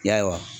Yarɔ